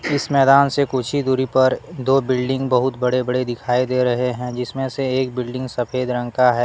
इस मैदान से कुछ ही दूरी पर दो बिल्डिंग बहुत बड़े बड़े दिखाई दे रहे है जिसमें से एक बिल्डिंग सफेद रंग का है।